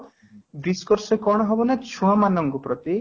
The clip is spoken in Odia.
discuss ରେ କ'ଣ ହବ ନା ଛୁଆ ମାନକ ପ୍ରତି